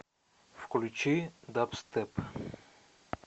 включи дабстеп